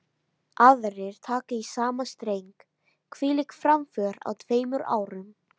Aðrir taka í sama streng: Hvílík framför á tveimur árum.